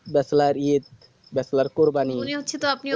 bachelor কোরবানি মনে হচ্ছে তো আপনি